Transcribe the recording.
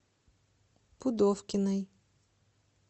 пудовкиной